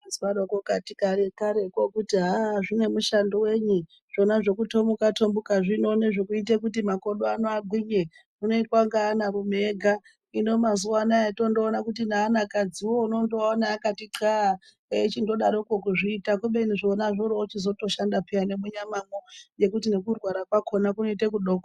Zvaizwaro kare kareko, kuti aah, zvine mushando wenyi, zvona zvekuthomuka-thomuka zvino, nezvekuita kuti makodo ako agwinye, zvinoitwa ngeanarume ega, hino mazuwa anaa tondoona kuti neanakadziwo, unotoaona akati xaa, eichindodaroko kuzviita, kubeni zvona zvoroochizotoshanda pheya, nemunyamamwo, nekuti nekurwara kwakhona kunoita kudoko.